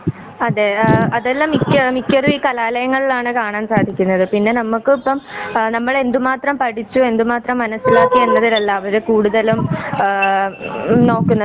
അതെ അതെല്ലാം മിക്ക മിക്കതും ഈ കലാലയങ്ങളിലാണ് കാണാൻ സാധിക്കുന്നത്. പിന്നെ നമ്മുക്കിപ്പം ആ നമ്മള് എന്തു മാത്രം പഠിച്ചു എന്തുമാത്രം മനസിലാക്കി എന്നതിലല്ല അവര് കുടുതലും ആ നോക്കുന്നത്.